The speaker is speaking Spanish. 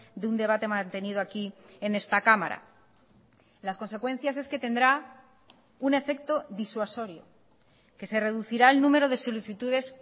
de un debate mantenido aquí en esta cámara las consecuencias es que tendrá un efecto disuasorio que se reducirá el número de solicitudes